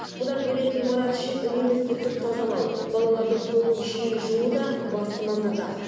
бұдан бөлек ғимарат ішін үнемі сүртіп тазалау балалардың қолын жиі жуу да басты назарда